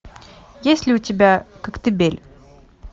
есть ли у тебя коктебель